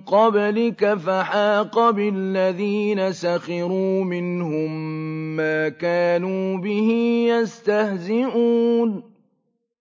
قَبْلِكَ فَحَاقَ بِالَّذِينَ سَخِرُوا مِنْهُم مَّا كَانُوا بِهِ يَسْتَهْزِئُونَ